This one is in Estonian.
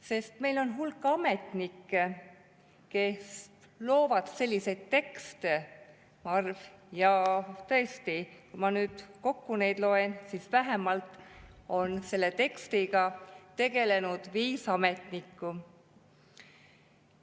Sest meil on hulk ametnikke, kes loovad selliseid tekste, ja tõesti, kui ma nüüd kokku loen, siis selle tekstiga on tegelenud vähemalt viis ametnikku.